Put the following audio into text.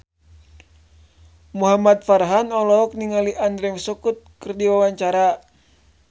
Muhamad Farhan olohok ningali Andrew Scott keur diwawancara